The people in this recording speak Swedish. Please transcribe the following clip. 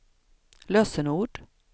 lösenord